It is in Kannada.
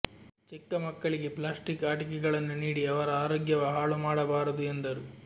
ಚಿಕ್ಕಮಕ್ಕಳಿಗೆ ಪ್ಲಾಸ್ಟಿಕ್ ಆಟಿಕೆಗಳನ್ನು ನೀಡಿ ಅವರ ಆರೋಗ್ಯವ ಹಾಳು ಮಾಡಬಾರದು ಎಂದರು